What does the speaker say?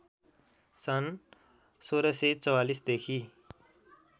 सन् १६४४ देखि